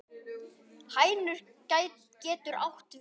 Hænir getur átt við